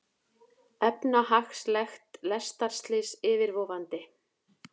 Efnahagslegt lestarslys yfirvofandi